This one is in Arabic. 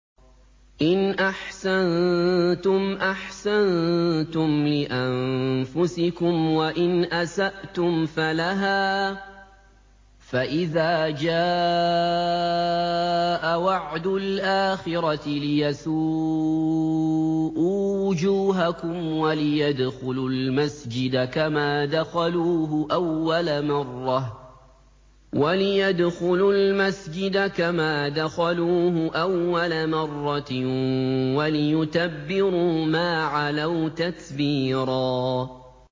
إِنْ أَحْسَنتُمْ أَحْسَنتُمْ لِأَنفُسِكُمْ ۖ وَإِنْ أَسَأْتُمْ فَلَهَا ۚ فَإِذَا جَاءَ وَعْدُ الْآخِرَةِ لِيَسُوءُوا وُجُوهَكُمْ وَلِيَدْخُلُوا الْمَسْجِدَ كَمَا دَخَلُوهُ أَوَّلَ مَرَّةٍ وَلِيُتَبِّرُوا مَا عَلَوْا تَتْبِيرًا